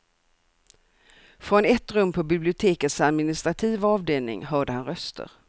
Från ett rum på bibliotekets administrativa avdelning hörde han röster.